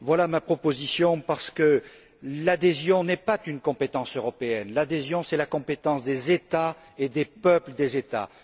Voilà ma proposition parce que l'adhésion n'est pas une compétence européenne. L'adhésion, c'est la compétence des États et des peuples des États.